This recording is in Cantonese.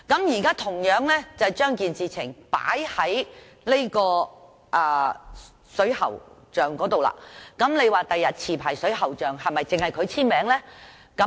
現在將情況套用於水喉匠身上，日後是否只要持牌水喉匠簽署呢？